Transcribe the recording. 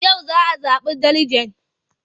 Yau za a zaɓi deliget.